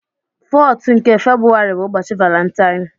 14th nke Febrụwarị bụ ụbọchị Valentine.